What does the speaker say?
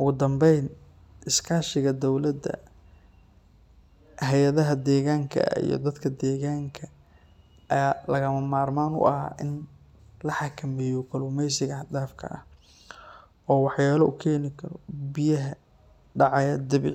ogudambeyn iskashiga dowlada, hayadaha deganka iyo dadka deganka aya lagamarman u ah in lahakamiyo kalumeysiga hadfak a ah, oo waxyelo ukeni karoo biyaha.